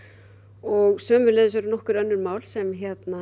og sömuleiðis eru önnur mál sem